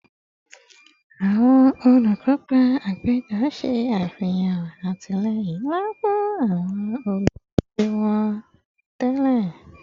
Awọn olukopa apejọ ṣe afihan atilẹyin nla fun awọn oludije wọn tẹlẹ